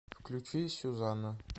включи сюзанна